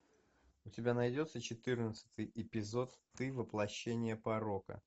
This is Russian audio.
у тебя найдется четырнадцатый эпизод ты воплощение порока